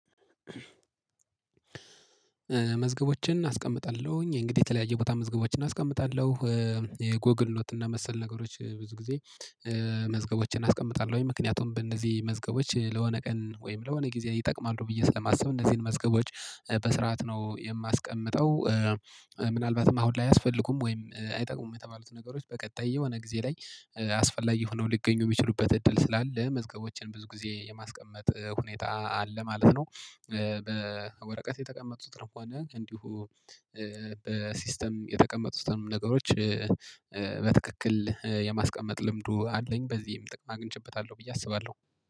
መዝገቦችን አስቀምጣለሁኝ እንግዲህ የተለያየ ቦታ መዝገቦችን አስቀምጣለሁ። የጎግል ኖት እና መሰል ነገሮች ብዙ ጊዜ መዝገቦችን አስቀምጣለሁኝ ምክንያቱም በእነዚህ መዝገቦች ለሆነ ቀን ወይም ለሆነ ጊዜ ይጠቅማሉ ብዬ ስለማስብ እነዚህን መዝገቦች በስርዓት ነው የማስቀምጠው ምናልባትም አሁን ላይ አያስፈልጉም ወይም አይጠቅሙም የተባሉት ነገሮች በቀጣይ የሆነ ጊዜ ላይ አስፈላጊ ሆነው ሊገኙ የሚችሉበት እድል ስላለ መዝገቦችን ብዙ ጊዜ የማስቀመጥ ሁኔታ አለ ማለት ነው። በወረቀት የተቀመጡት ሆነ እንዲሁ በሲስተም የተቀመጡትም ነገሮች። በትክክል የማስቀመጥ ልምዱ አለኝ በዚህም ጥቅም አግኝቼበታለሁ ብዬ አስባለሁ